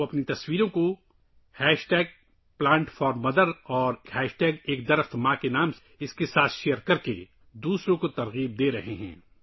وہ #plant for mother اور #ایک پیڑ ماں کے نام پر اپنی تصاویر شیئر کرکے دوسروں کو متاثر کررہے ہیں